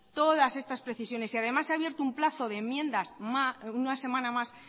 todas estas precisiones y además se ha abierto un plazo de enmiendas una semana más